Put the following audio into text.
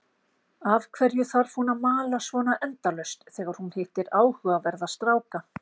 Af hverju þarf hún að mala svona endalaust þegar hún hittir áhugaverða stráka?